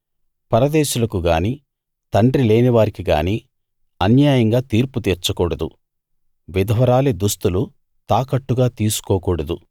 పరదేశులకు గానీ తండ్రి లేనివారికి గానీ అన్యాయంగా తీర్పు తీర్చకూడదు విధవరాలి దుస్తులు తాకట్టుగా తీసుకోకూడదు